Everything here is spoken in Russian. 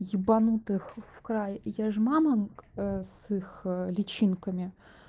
ебанутых в край и я же мамам с их личинками